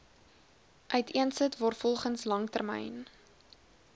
uiteensit waarvolgens langtermyn